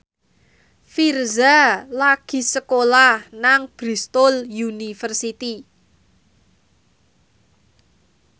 Virzha lagi sekolah nang Bristol university